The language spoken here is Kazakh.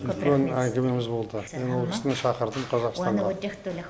үлкен әңгімеміз болды мен ол кісіні шақырдым қазақстанға